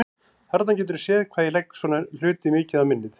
Þarna geturðu séð hvað ég legg svona hluti mikið á minnið!